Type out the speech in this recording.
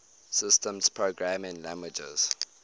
systems programming languages